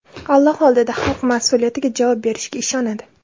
Alloh oldida xalq mas’uliyatiga javob berishiga ishonadi.